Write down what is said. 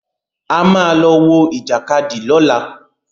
A ma lọ wọ Ìjàkadì lọ́la.